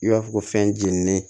I b'a fɔ ko fɛn jeninen